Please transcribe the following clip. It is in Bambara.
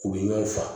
U bɛ ɲɔgɔn faga